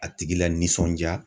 A tigi la nisɔndiya.